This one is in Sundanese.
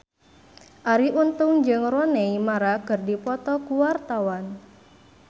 Arie Untung jeung Rooney Mara keur dipoto ku wartawan